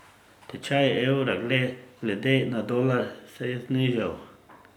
Tečaj evra glede na dolar se je znižal.